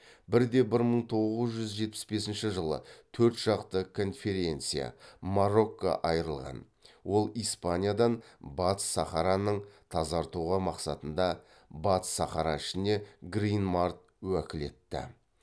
бірде бір мың тоғыз жүз жетпіс бесінші жылы төрт жақты конференция марокко айырылған ол испаниядан батыс сахараның тазартуға мақсатында батыс сахара ішіне грин март уәкілетті